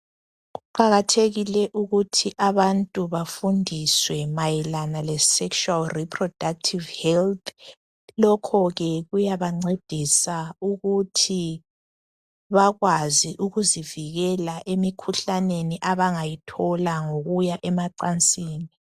Kuqakathekile ukuthi abantu bafundiswe mayelana le sexual reproductive health lokho ke kuyabancedisa ukuthi bakwazi ukuzivikela emikhuhlaneni abangayithola ngokuya emacansini.